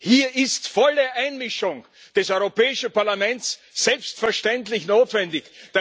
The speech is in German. Hier ist die volle Einmischung des Europäischen Parlaments selbstverständlich notwendig.